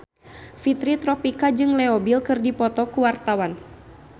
Fitri Tropika jeung Leo Bill keur dipoto ku wartawan